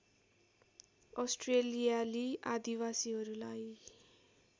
अस्ट्रेलियाली आदिवासीहरूलाई